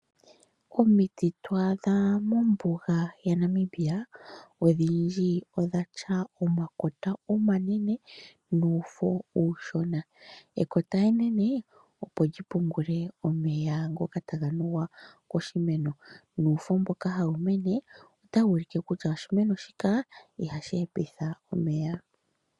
Omiti ndhoka to adha mombuga yaNamibia, odhindji odhi na omakota omanene nuufo uushona. Ekota enene, opo li pungule omeya ngoka taga nuwa koshimeno nuufo mboka hawu mene, ohawu ulike kutya oshimeno shoka ihashi hepitha omeya.